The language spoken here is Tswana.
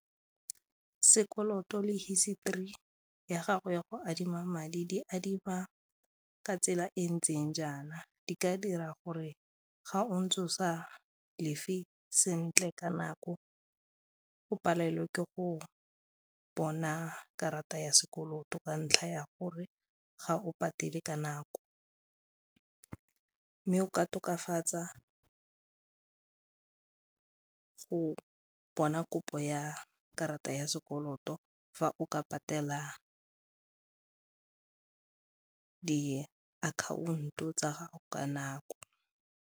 Sekoloto le history ya gago ya go adima madi di adima ka tsela e ntseng jaana, di ka dira gore ga o ntse o sa lefe sentle ka nako o palelwe ke go bona karata ya sekoloto ka ntlha ya gore ga o patele ka nako mme o ka tokafatsa ka go bona kopo ya karata ya sekoloto fa o ka patela diakhaonto tsa gago ka nako.